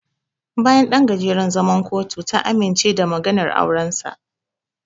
Bayan ɗan gajeren zaman kotu, ta amince da maganar aurensa.